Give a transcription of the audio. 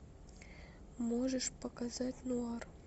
можешь показать нуар